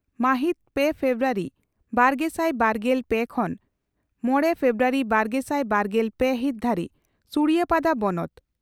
ᱢᱟᱦᱤᱛ ᱯᱮ ᱯᱷᱮᱵᱨᱩᱣᱟᱨᱤ ᱵᱟᱨᱜᱮᱥᱟᱭ ᱵᱟᱨᱜᱮᱞ ᱯᱮ ᱠᱷᱚᱱ ᱢᱚᱲᱮ ᱯᱷᱮᱵᱨᱩᱣᱟᱨᱤ ᱵᱟᱨᱜᱮᱥᱟᱭ ᱵᱟᱨᱜᱮᱞ ᱯᱮ ᱦᱤᱛ ᱫᱷᱟᱹᱨᱤᱡ ᱥᱩᱲᱤᱭᱟᱯᱟᱫᱟ ᱵᱚᱱᱚᱛ